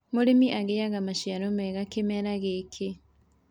mũrĩmi agiaga maciaro mega kĩmera gikĩ